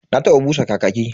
Na taba busa kakaki.